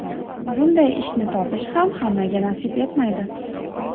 Bunday ishni topish ham hammaga nasib etmaydi.